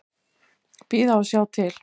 Bíða og sjá til.